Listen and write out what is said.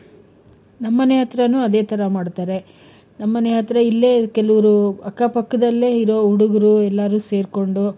ನಮ್ ಮನೆ ಹತ್ರಾನೂ ಅದೇ ತರ ಮಾಡ್ತಾರೆ.ನಮ್ ಮನೆ ಹತ್ರ ಇಲ್ಲೇ ಕೆಲವ್ರು ಅಕ್ಕ ಪಕ್ಕದಲ್ಲೇ ಇರೋ ಹುಡುಗ್ರು ಎಲ್ಲರೂ ಸೇರ್ಕೊಂಡು,